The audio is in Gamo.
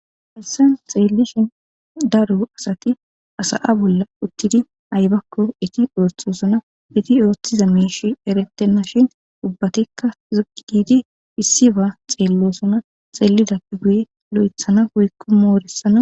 Hayssan xeelishin daro asati sa'a bolla uttidi aybbakko eeti oothosona. Eeti oothiza miishey erettena shin ubbatikka si'i giidi issiba xeelosonna.